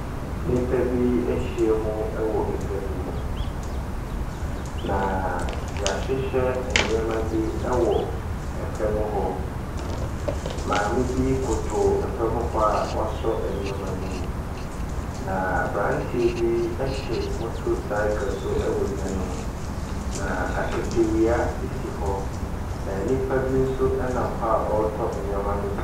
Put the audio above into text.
Nnipa bi ahyia mu wɔ edwa bi mu, na yɛahyehyɛ nneema bi ɛwɔ ɛfam hɔ. Maame bi koto ɛfam hɔ a wɔaso nneema no mu. Na abranteɛ bi ɛte motorcyle so ɛwɔ edwa ne mu. Na akatawea si hɔ na nnipa bi nso nam hɔ a ɔretɔ nneema no bi.